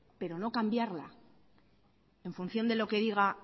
pero no cambiarla en función de lo que diga